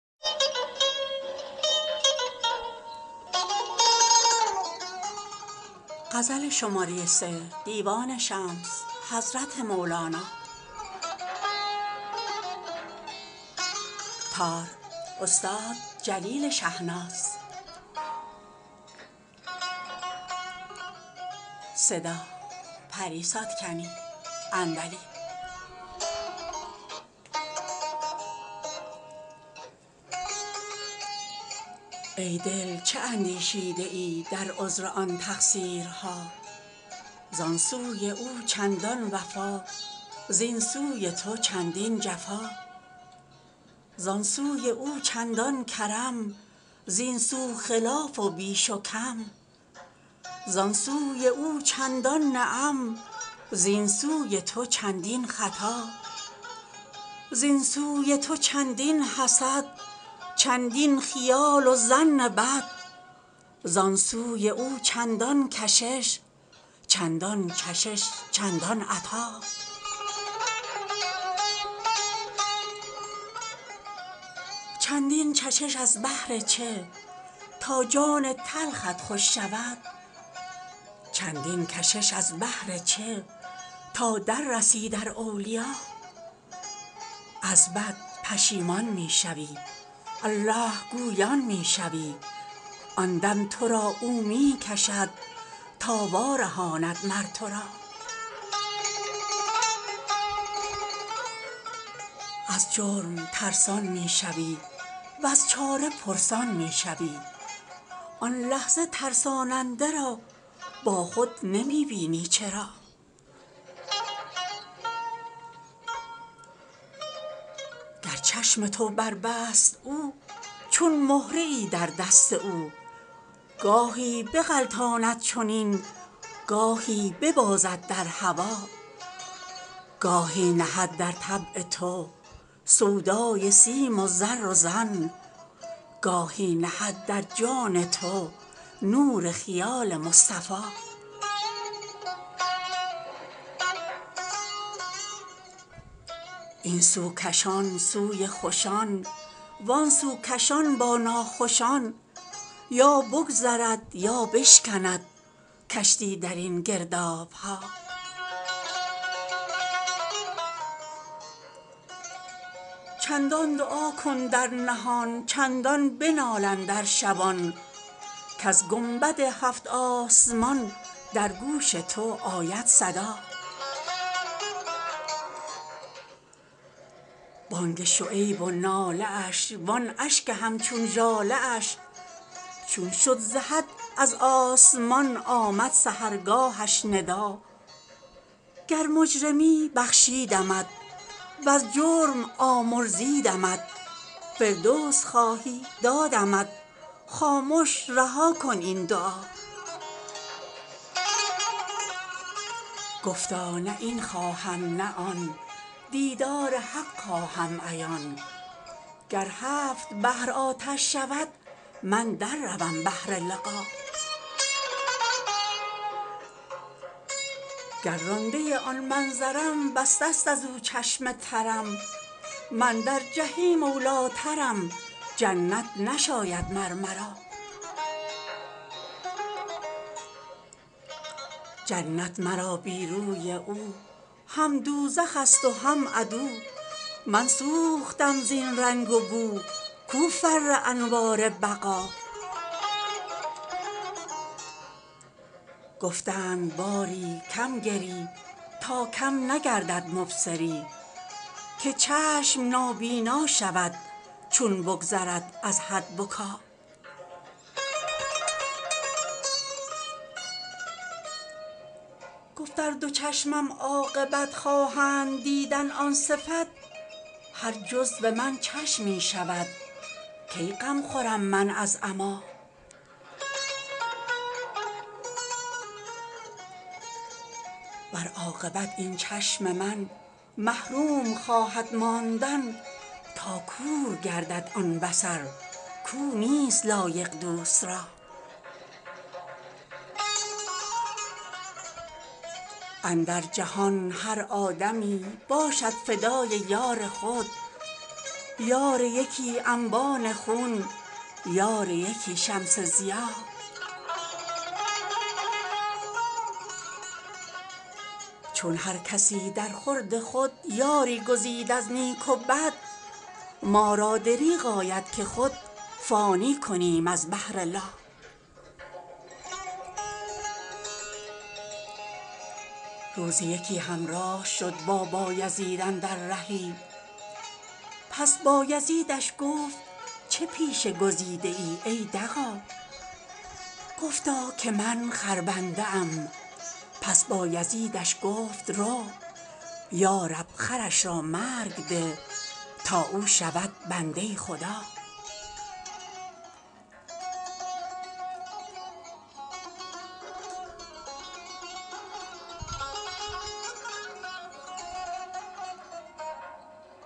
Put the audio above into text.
ای دل چه اندیشیده ای در عذر آن تقصیرها زان سوی او چندان وفا زین سوی تو چندین جفا زان سوی او چندان کرم زین سو خلاف و بیش و کم زان سوی او چندان نعم زین سوی تو چندین خطا زین سوی تو چندین حسد چندین خیال و ظن بد زان سوی او چندان کشش چندان چشش چندان عطا چندین چشش از بهر چه تا جان تلخت خوش شود چندین کشش از بهر چه تا در رسی در اولیا از بد پشیمان می شوی الله گویان می شوی آن دم تو را او می کشد تا وارهاند مر تو را از جرم ترسان می شوی وز چاره پرسان می شوی آن لحظه ترساننده را با خود نمی بینی چرا گر چشم تو بربست او چون مهره ای در دست او گاهی بغلطاند چنین گاهی ببازد در هوا گاهی نهد در طبع تو سودای سیم و زر و زن گاهی نهد در جان تو نور خیال مصطفیٰ این سو کشان سوی خوشان وان سو کشان با ناخوشان یا بگذرد یا بشکند کشتی در این گرداب ها چندان دعا کن در نهان چندان بنال اندر شبان کز گنبد هفت آسمان در گوش تو آید صدا بانگ شعیب و ناله اش وان اشک همچون ژاله اش چون شد ز حد از آسمان آمد سحرگاهش ندا گر مجرمی بخشیدمت وز جرم آمرزیدمت فردوس خواهی دادمت خامش رها کن این دعا گفتا نه این خواهم نه آن دیدار حق خواهم عیان گر هفت بحر آتش شود من در روم بهر لقا گر رانده آن منظرم بسته است از او چشم ترم من در جحیم اولی ٰترم جنت نشاید مر مرا جنت مرا بی روی او هم دوزخ ست و هم عدو من سوختم زین رنگ و بو کو فر انوار بقا گفتند باری کم گری تا کم نگردد مبصری که چشم نابینا شود چون بگذرد از حد بکا گفت ار دو چشمم عاقبت خواهند دیدن آن صفت هر جزو من چشمی شود کی غم خورم من از عمیٰ ور عاقبت این چشم من محروم خواهد ماندن تا کور گردد آن بصر کو نیست لایق دوست را اندر جهان هر آدمی باشد فدای یار خود یار یکی انبان خون یار یکی شمس ضیا چون هر کسی درخورد خود یاری گزید از نیک و بد ما را دریغ آید که خود فانی کنیم از بهر لا روزی یکی همراه شد با بایزید اندر رهی پس بایزیدش گفت چه پیشه گزیدی ای دغا گفتا که من خربنده ام پس بایزیدش گفت رو یا رب خرش را مرگ ده تا او شود بنده خدا